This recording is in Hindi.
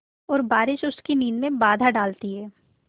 और बारिश उसकी नींद में बाधा डालती है